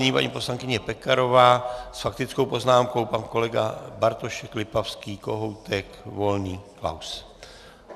Nyní paní poslankyně Pekarová s faktickou poznámkou, pan kolega Bartošek, Lipavský, Kohoutek, Volný, Klaus.